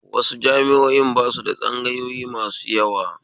Wasu jami'o'in basu da tsangayoyi masu yawa